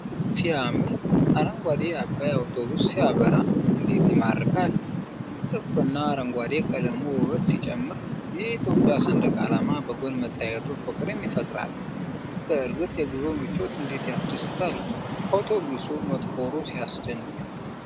ሲያምር! አረንጓዴው አባይ አውቶቡስ ሲያበራ እንዴት ይማርካል! ጥቁርና አረንጓዴ ቀለሙ ውበት ሲጨምር! የእትዮጵያ ሰንደቅ ዓላማ በጐን መታየቱ ፍቅርን ይፈጥራል! በእርግጥ የጉዞ ምቾት እንዴት ያስደስታል! አውቶቡሱ መጥቆሩ ሲያስደንቅ!